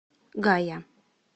гая